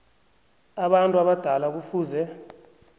abantu abadala kufuze